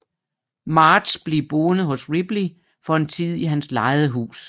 Marge bliver boende hos Ripley for en tid i hans lejede hus